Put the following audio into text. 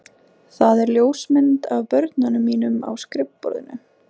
Það er ljósmynd af börnum mínum á skrifborðinu.